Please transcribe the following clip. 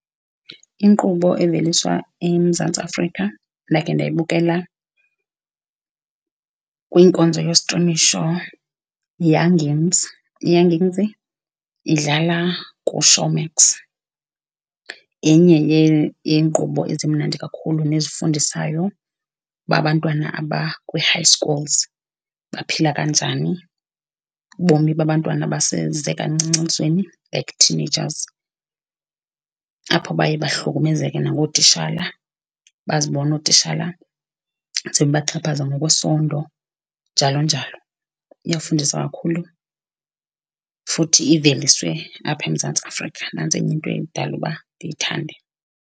Inkqubo eveliswa eMzantsi Afrika endakhe ndayibukela kwinkonzo yostrimisho yiYoungins. IYoungins idlala kuShowmax yenye yeenkqubo ezimnandi kakhulu nezifundisayo uba abantwana abakwi-high schools baphila kanjani, ubomi babantwana abaseze kancinci elizweni, like teenagers, apho baye bahlukumezeke nangootishala, bazibone ootitshala sebebaxhaphaza ngokwesondo njalo njalo. Iyafundisa kakhulu futhi iveliswe apha eMzantsi Afrika, nantsi enye into edala uba ndiyithande.